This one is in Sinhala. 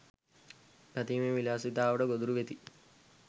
පැතීමේ විලාසිතාවට ගොදුරු වෙති